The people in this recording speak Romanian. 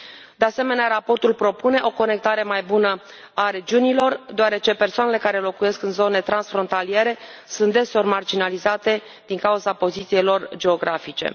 De asemenea, raportul propune o conectare mai bună a regiunilor deoarece persoanele care locuiesc în zone transfrontaliere sunt deseori marginalizate din cauza poziției lor geografice.